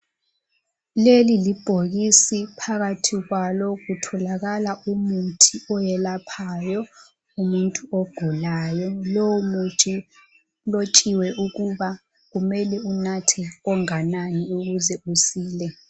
leli libhokisi phakathi kwalo kutholakala umuthi oyelaphayo umuntu ogulayo lo muthi ulotshiwe ukuba kumele unathe onganani ukuze usile